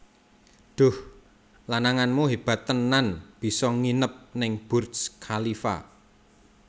Duh lananganmu hebat tenan biso nginep ning Burj Khalifa